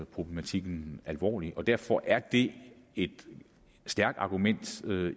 problematikken alvorligt og derfor er det et stærkt argument